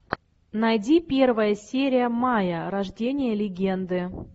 найди первая серия майя рождение легенды